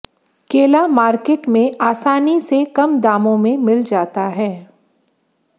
केला मार्केट में आसानी से कम दामों में मिल जाता है